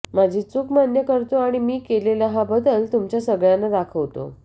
माझी चुक मान्य करतो आणि मी केलेला हा बदल तुमच्या सगळ्यांना दाखवतो